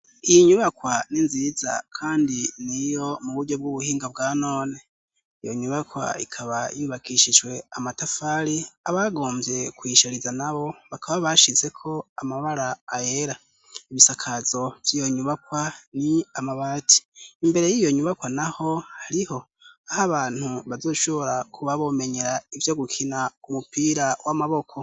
iyi nyubakwa n'inziza kandi ni yo mu buryo bw'ubuhinga bwa none iyo nyubakwa ikaba yubakishijwe amatafari abagomvye kuyishariza na bo bakaba bashize ko amabara ayera ibisakazo vyiyo nyubakwa ni amabati imbere y'iyo nyubakwa naho hariho aha bantu bazoshobora kuba bomenyera ivyo gukina umupira w'amaboko